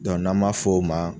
n'an ma f'o ma